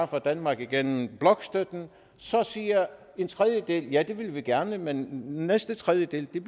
fra danmark gennem blokstøtten så siger en tredjedel at det vil de gerne men den næste tredjedel er